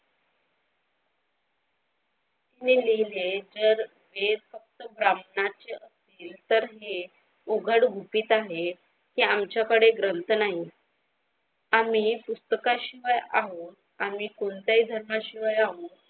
मी लिहिले जर एक अस ब्राह्मणाची असेल तर हे उघड गुपित आहेत ते आमच्याकडे ग्रंथ नाही आणि पुस्तकाशिवाय आम्ही आम्ही कोणत्या ही धर्मा शिवाय आहोत.